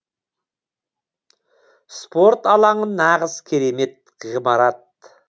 спорт алаңы нағыз керемет ғимарат